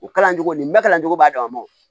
U kalancogo nin bɛ kalan cogo b'a dama o